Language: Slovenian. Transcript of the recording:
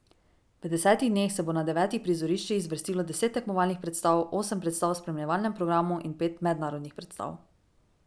V desetih dneh se bo na devetih prizoriščih zvrstilo deset tekmovalnih predstav, osem predstav v spremljevalnem programu in pet mednarodnih predstav.